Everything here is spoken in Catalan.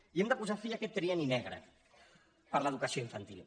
i hem de posar fi a aquest trienni negre per a l’educació infantil